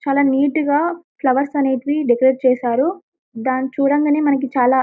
చాలా నీట్ గా ఫ్లవర్స్ అనేటివి డెకరేట్ చేశారు దాని చూడంగానే మనకి చాలా --